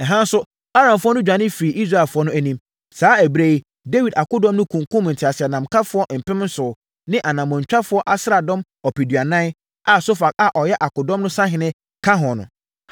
Ɛha nso, Aramfoɔ no dwane firii Israelfoɔ no anim. Saa ɛberɛ yi, Dawid akodɔm no kunkumm nteaseɛnamkafoɔ mpem nson ne anammɔntwa asraadɔm ɔpeduanan a Sofak a ɔyɛ akodɔm no sahene no ka ho.